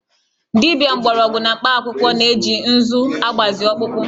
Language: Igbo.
Dibia mgbọrọgwụ na mkpakwụkwọ na-eji ǹzú agbazị ọkpụkpọ